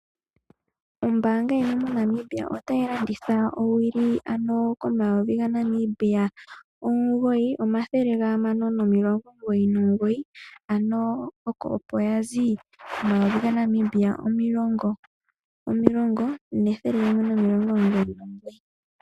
Oombanga yimwe yaNamibia otayi landitha owili ano komayovi gaNamibia omugoyi omugoyi nomathele gahamano nomilongo omugoyi nomugoyi oshoka nale okwali yina omayovi omulongo nethele limwe nomilongo omugoyi nogoyi.